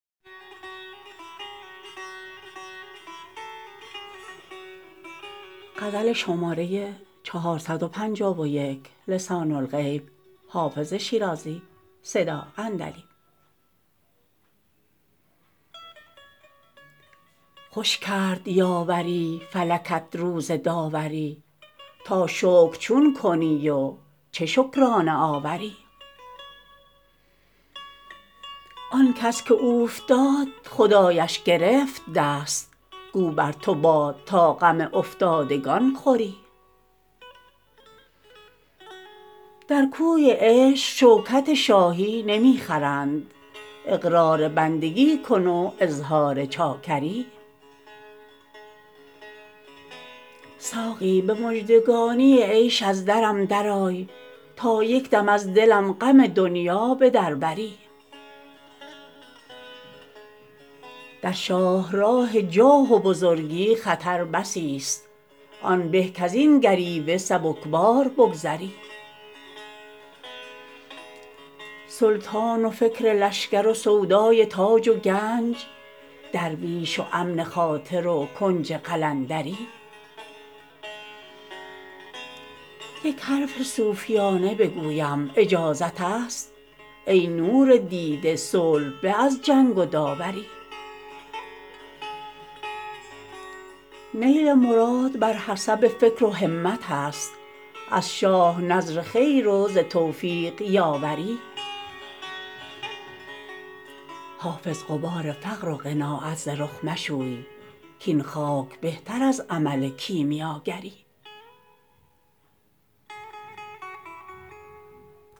خوش کرد یاوری فلکت روز داوری تا شکر چون کنی و چه شکرانه آوری آن کس که اوفتاد خدایش گرفت دست گو بر تو باد تا غم افتادگان خوری در کوی عشق شوکت شاهی نمی خرند اقرار بندگی کن و اظهار چاکری ساقی به مژدگانی عیش از درم درآی تا یک دم از دلم غم دنیا به در بری در شاه راه جاه و بزرگی خطر بسی ست آن به کز این گریوه سبک بار بگذری سلطان و فکر لشکر و سودای تاج و گنج درویش و امن خاطر و کنج قلندری یک حرف صوفیانه بگویم اجازت است ای نور دیده صلح به از جنگ و داوری نیل مراد بر حسب فکر و همت است از شاه نذر خیر و ز توفیق یاوری حافظ غبار فقر و قناعت ز رخ مشوی کاین خاک بهتر از عمل کیمیاگری